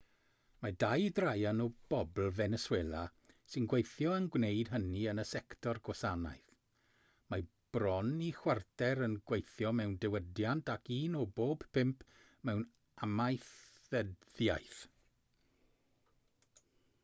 mae dau draean o bobl feneswela sy'n gweithio yn gwneud hynny yn y sector gwasanaeth mae bron i chwarter yn gweithio mewn diwydiant ac un o bob pump mewn amaethyddiaeth